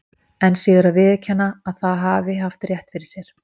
Enn síður að viðurkenna að það hafi haft rétt fyrir sér.